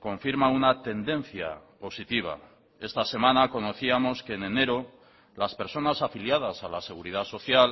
confirman una tendencia positiva esta semana conocíamos que en enero las personas afiliadas a la seguridad social